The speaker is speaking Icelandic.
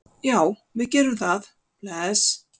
Já, við gerum það. Bless.